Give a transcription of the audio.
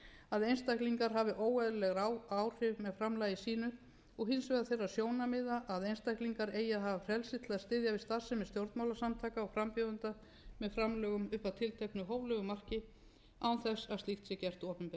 að einstaklingar hafi óeðlileg áhrif með framlagi sínu og hins vegar þeirra sjónarmiða að einstaklingar eigi að hafa frelsi til að styðja við starfsemi stjórnmálasamtaka og frambjóðenda með framlögum upp að tilteknu hóflegu marki án þess að slíkt sé gert opinbert reglur núgildandi laga